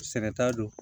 Sɛnɛ ta don